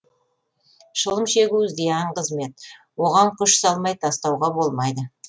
шылым шегу зиян қызмет оған күш салмай тастауға болмайды